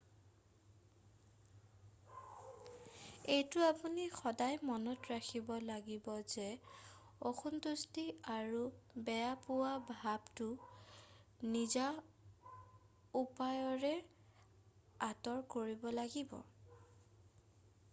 এইটো আপুনি সদায় মনত ৰাখিব লাগিব যে অসন্তুষ্টি অথবা বেয়া পোৱা ভাৱটো নিজা উপায়েৰে আঁতৰ কৰিব লগিব